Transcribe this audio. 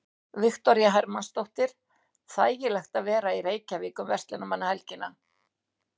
Viktoría Hermannsdóttir: Þægilegt að vera í Reykjavík um verslunarmannahelgina?